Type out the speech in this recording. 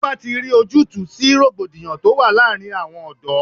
Ọba ti rí ojútùú sí rògbòdìyàn tó wà láàárín àwọn ọ̀dọ́.